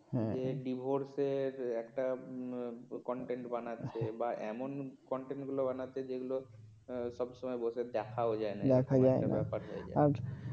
এ divorce র একটা content বানাচ্ছে বা এমন content গুলো বানাচ্ছে যেগুলো সব সময় বসে দেখাও যায় না বাজে ব্যাপার হয়ে যায়